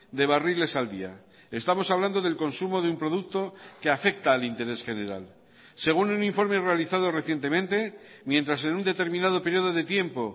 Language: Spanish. de barriles al día estamos hablando del consumo de un producto que afecta al interés general según un informe realizado recientemente mientras en un determinado periodo de tiempo